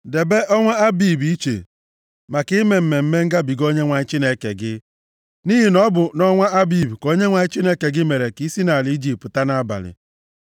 Debe ọnwa Abib + 16:1 Nke a bụ nʼetiti ọnwa atọ na ọnwa anọ nʼafọ, dịka anyị si agụ afọ nke anyị. iche maka ime Mmemme Ngabiga Onyenwe anyị Chineke gị, nʼihi na ọ bụ nʼọnwa Abib ka Onyenwe anyị Chineke gị mere ka i si nʼala Ijipt pụta nʼabalị.